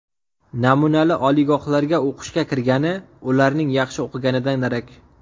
Namunali oliygohlarga o‘qishga kirgani ularning yaxshi o‘qiganidan darak.